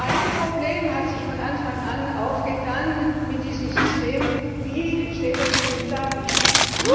Ein Problem hat sich von Anfang an aufgetan mit diesem System Wie steht es mit dem Datenschutz?